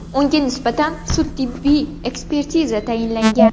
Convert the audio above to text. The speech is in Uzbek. Unga nisbatan sud-tibbiy ekspertiza tayinlangan.